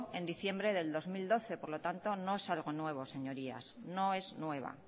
en diciembre del dos mil doce por lo tanto no es algo nuevo señorías no es nueva